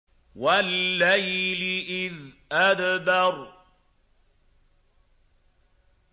وَاللَّيْلِ إِذْ أَدْبَرَ